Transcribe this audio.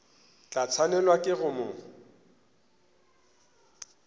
tla swanelwa ke go mo